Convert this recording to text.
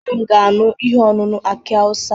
Nne m ga-aṅụ ihe ọṅụṅụ aki awụsa.